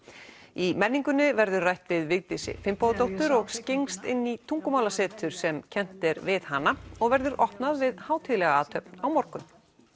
í menningunni verður rætt við Vigdísi Finnbogadóttur og skyggnst inn í tungumálasetur sem kennt er við hana og verður opnað við hátíðlega athöfn á morgun